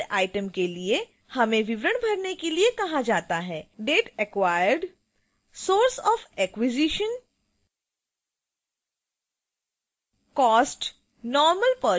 फिर add item के लिए